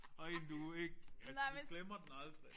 Og en du ikke altså du glemmer den aldrig